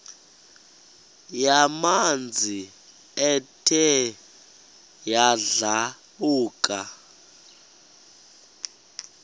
yamanzi ethe yadlabhuka